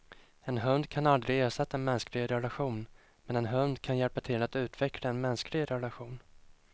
En hund kan aldrig ersätta en mänsklig relation, men en hund kan hjälpa till att utveckla en mänsklig relation.